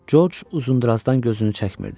Corc uzundurazdan gözünü çəkmirdi.